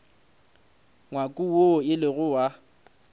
ngwako woo e lego wa